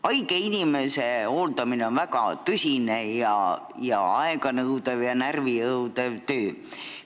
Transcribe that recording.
Haige inimese hooldamine on väga tõsine, aega ja närve nõudev töö.